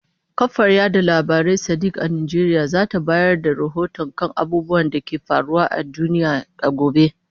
Kafar yada labarai ta Sadiq a Najeriya za ta bayar da rahoto kan abubuwan da ke faruwa a duniya a gobe.